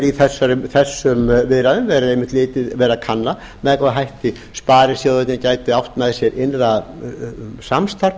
í þessum viðræðum verið að kanna með hvaða hætti sparisjóðirnir gætu átt með sér innra samstarf